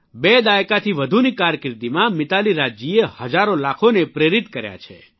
બે દાયકાથી વધુની કારકિર્દીમાં મિતાલી રાજજીએ હજારો લાખોને પ્રેરિક કર્યા છે